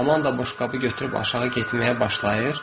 Amanda boşqabı götürüb aşağı getməyə başlayır.